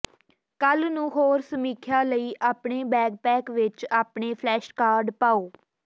ਕੱਲ੍ਹ ਨੂੰ ਹੋਰ ਸਮੀਖਿਆ ਲਈ ਆਪਣੇ ਬੈਕਪੈਕ ਵਿਚ ਆਪਣੇ ਫਲੈਸ਼ਕਾਰਡ ਪਾਓ